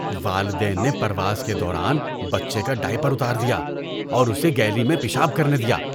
والدین نے پرواز کے دوران بچے کا ڈائپر اتار دیا اور اسے گیلی میں پیشاب کرنے دیا۔